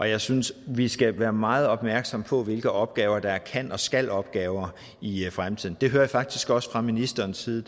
jeg synes at vi skal være meget opmærksomme på hvilke opgaver der er kan og skal opgaver i i fremtiden det hører jeg faktisk også fra ministerens side